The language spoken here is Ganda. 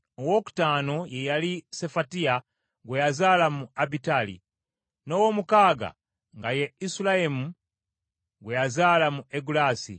Owookutaano ye yali Sefatiya, gwe yazaala mu Abitali n’ow’omukaaga nga ye Isuleyamu gwe yazaala mu Egula.